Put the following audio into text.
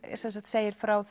segir frá